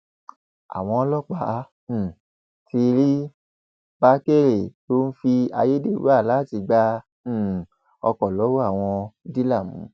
àwọn ọlọpàá um ti rí bákérè tó ń fi ayédèrú aláàtì gbá um ọkọ lọwọ àwọn dílà mú